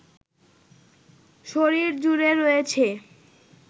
শরীর জুড়ে রয়েছে